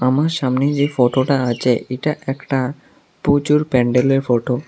আমার সামনে যে ফটোটা আচে এইটা একটা পূজোর প্যান্ডেলের ফটো ।